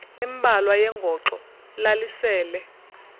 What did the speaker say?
embalwa yengoxo lalisele